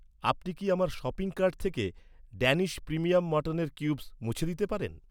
আপনি কি আমার শপিং কার্ট থেকে ড্যানিশ প্রিমিয়াম মাটনের কিউবস মুছে দিতে পারেন?